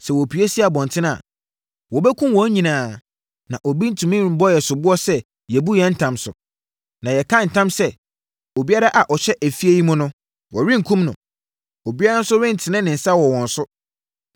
Sɛ wɔpue si abɔntene a, wɔbɛkum wɔn nyinaa na obi rentumi mmɔ yɛn soboɔ sɛ yɛabu yɛn ntam so. Na yɛka ntam sɛ, obiara a ɔhyɛ efie yi mu no, wɔrenkum no. Obiara nso rentene ne nsa wɔ wɔn so.